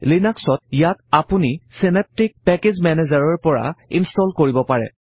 লিনাক্সত ইয়াক আপুনি চেনেপ্তিক পেকেজ মেনেজাৰৰ পৰা ইনশ্টল কৰিব পাৰে